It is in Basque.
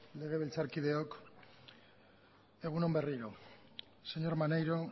legebiltzarkideok egun on berriro señor maneiro